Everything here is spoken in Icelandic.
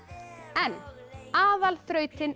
en